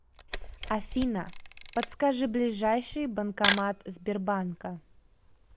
афина подскажи ближайший банкомат сбербанка